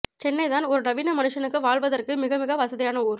சென்னைதான் ஒரு நவீன மனுஷனுக்கு வாழ்வதற்கு மிகமிக வசதியான ஊர்